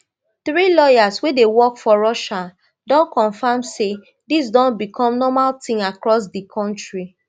three lawyers wey dey work for russia don confam say dis don bicom normal tin across di kontri